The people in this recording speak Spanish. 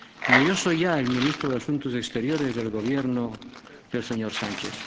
Ni yo soy ya el ministro de Asuntos Exteriores del Gobierno del señor Sánchez.